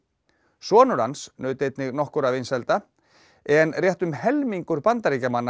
sonur hans naut einnig nokkurra vinsælda en rétt um helmingur Bandaríkjamanna